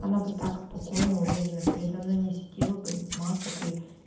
она бы так спокойно уверенно передо мной не сидела бы без масок и